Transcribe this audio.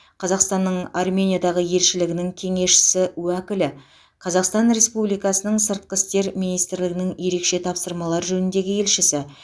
қазақстанның армениядағы елшілігінің кеңесшісі уәкілі қазақстан республикасының сыртқы істер министрлігі ерекше тапсырмалар жөніндегі елшісі